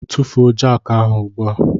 Tufuo jakị ahụ ugbu a!